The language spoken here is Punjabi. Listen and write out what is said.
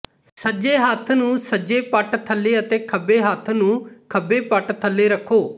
ਸੱਜੇ ਹੱਥ ਨੂੰ ਸੱਜੇ ਪੱਟ ਥੱਲੇ ਅਤੇ ਖੱਬੇ ਹੱਥ ਨੂੰ ਖੱਬੇ ਪੱਟ ਥੱਲੇ ਰੱਖੋ